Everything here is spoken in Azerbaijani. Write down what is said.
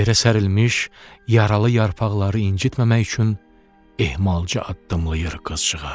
Yerə sərilmiş yaralı yarpaqları incitməmək üçün ehmalca addımlayır qızcığaz.